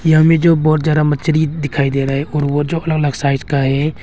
यहां में जो बहुत ज्यादा मच्छरी दिखाई दे रहा है और वो जो अलग अलग साइज का है।